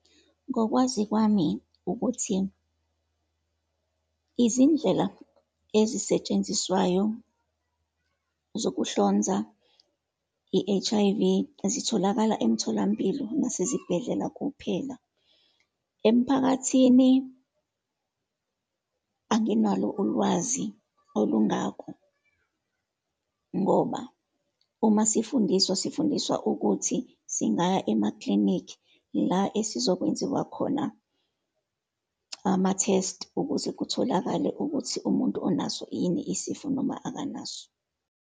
Ngokwazi kwami ukuthi, izindlela ezisetshenziswayo zokuhlonza i-H_I_V zitholakala emtholampilo nasezibhedlela kuphela. Emphakathini, anginalo ulwazi olungako, ngoba uma sifundiswa, sifundiswa ukuthi singaya emaklinikhi, la esizokwenziwa khona ama-test ukuze kutholakale ukuthi umuntu unaso yini isifo noma akanaso.